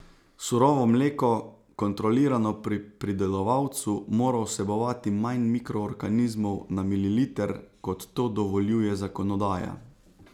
Surovo mleko, kontrolirano pri pridelovalcu, mora vsebovati manj mikroorganizmov na mililiter, kot to dovoljuje zakonodaja.